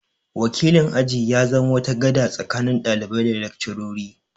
Wakilin aji ya zama wata gada tsakanin ɗalibai da laccarori